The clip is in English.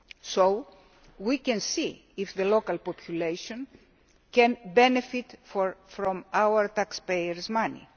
So we can see whether the local population can benefit from our taxpayers' money.